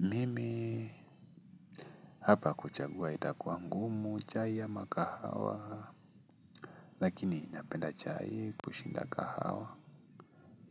Mimi hapa kuchagua itakuwa ngumu chai ama kahawa lakini napenda chai kushinda kahawa